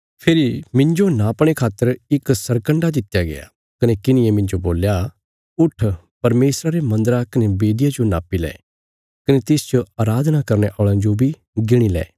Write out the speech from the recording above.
फेरी मिन्जो नापणे खातर इक सरकन्डा दित्या गया कने किन्हिये मिन्जो बोल्या उट्ठ परमेशरा रे मन्दरा कने बेदिया जो नापी लै कने तिसच अराधना करने औल़यां जो गिणी लै